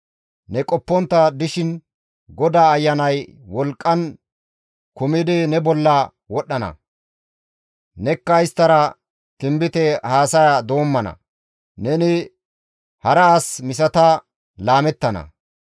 Ne qoppontta dishin GODAA Ayanay wolqqan kumidi ne bolla wodhdhana; nekka isttara tinbite haasaya doommana; neni hara as misata laamettana.